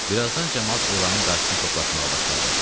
Birazdan camaat elanın qarşısına toplaşmağa başladı.